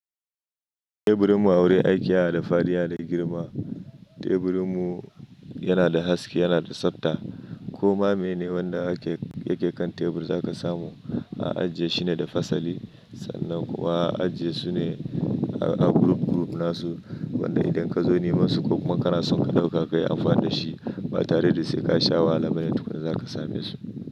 Teburinmu a wurin aiki yana da fadi yana da girma. Teburinmu yana da haske, yana da tsafta. Koma mene wanda yake kan tebur za ka samu a aji shine da fasali sannan kuwa a ajesu ne a guruf guruf nasu wanda idan ka zo nema su ko kuma ka na son ka ɗauka kayi amfani da shi ba tare da sai ka sha wahala bane tukun zaka same su.